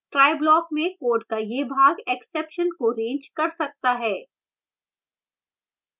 try block में code का यह भाग exception को रेज़ कर सकता है